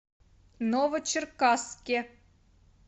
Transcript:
новочеркасске